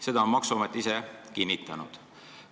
Seda on maksuamet kinnitanud.